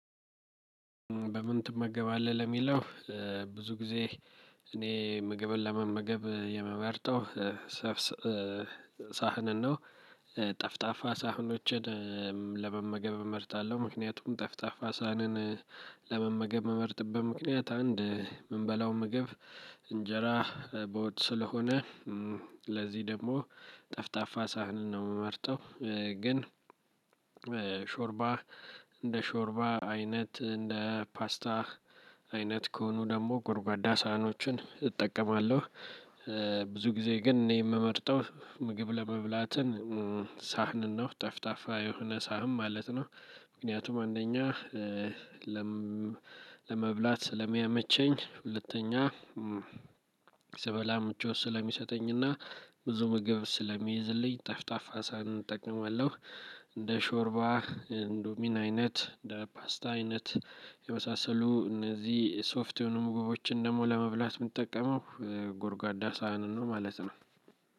በምን ትመገባለህ ለሚለው? ብዙ ጊዜ እኔ ምግብን ለመመገብ የመመርጠው። ሳህንን ነው ጠፍጣፋ ሳህኖችን ለመመገብ እመርጣለሁ። ምክንያቱም ጠፍጣፋ ሳሀንን ለመመገብ እምመርጥበት ምክንያት አንድ የምንበላው ምግብ እንጀራ በወጥ ስለሆነ። ለዚህ ደግሞ ጠፍጣፋ ሳህንን ነው የምመርጠው። ግን ሾርባ እንደ ሾርባ አይነት እንደ ፓስታ አይነት ከሆኑ ደግሞ ጎርጓዳ ሳህኖችን እጠቀማለሁ። ብዙ ጊዜ ግን እኔ የምመርጠው ምግብ ለመብላትን ሳህንን ነው ጠፍጣፋ የሆነ ሳህን ማለት ነው። ምክንያቱም አንደኛ ለመብላት ስለሚያመቸኝ ሁለተኛ ስበላ ምቾት ስለሚሰጠኝና ብዙ ምግብ ስለሚይዝልኝ ጣፋጣፋ ሳሀንን እጠቀማለሁ። እንደ ሾርባ እንዶሚና አይነት እንደ ፓስታ አይነት የመሳሰሉ እነዚህ ሶፍት የሆኑ ምግቦችን ደግሞ ለመብላት የምንጠቀመው ጎርጓዳ ሳህንን ነው ማለት ነው።